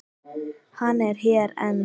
Hann er hér enn.